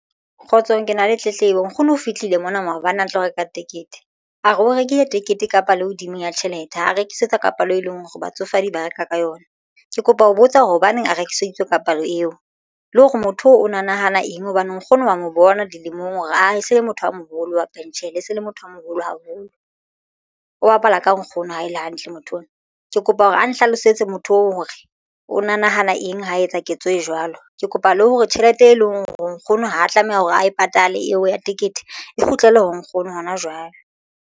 Kgotsong ke na le tletlebo. Nkgono o fihlile mona maobane a tlo reka tekete a re o rekile tekete kapa le hodimo ya tjhelete ha a rekisetswa ka palo e leng hore batsofadi ba reka ka yona. Ke kopa ho botsa hore hobaneng a rekiseditswe ka palo eo le hore motho o na nahana eng hobane nkgono wa mo bona dilemong hore ae se le motho a moholo wa pentjhele e se le motho a moholo haholo o bapala ka nkgono ha ele hantle motho ona. Ke kopa hore ana hlalosetse motho oo hore o na nahana eng. Ho etsa ketso e jwalo ke kopa le hore tjhelete e leng hore o nkgono ha tlameha hore a e patale eo ya tekete e kgutlele ho nkgono hona jwale.